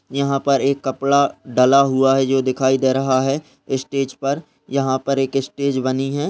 यहाँ पर एक कपड़ा डाला हुआ है जो दिखाई दे रहा है स्टेज पर यहाँ पर एक स्टेज बनी है।